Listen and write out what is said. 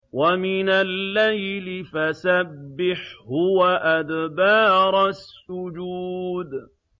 وَمِنَ اللَّيْلِ فَسَبِّحْهُ وَأَدْبَارَ السُّجُودِ